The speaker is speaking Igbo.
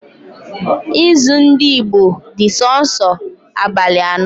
Izu ndị Igbo dị sọọsọ abalị ano